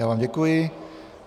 Já vám děkuji.